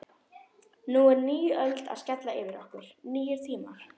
Nú er ný öld að skella yfir okkur, nýir tímar.